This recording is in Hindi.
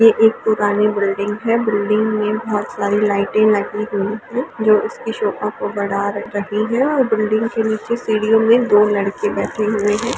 ये एक पुरानी बिल्डिंग है बिल्डिंग में बहुत सारी लाइटें लगी हुई हैं जो इसकी शोभा को बढ़ा रही हैं और बिल्डिंग के नीचे सीढ़ियों में दो लड़के बैठे हुए हैं।